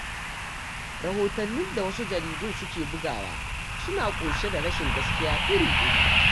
Rahotannin da wasu jaridun suke bugawa suna ƙunshe da rashin gaskiya iri-iri.